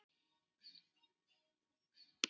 Það lýsir af henni.